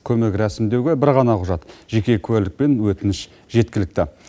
көмек рәсімдеуге бір ғана құжат жеке куәлік пен өтініш жеткілікті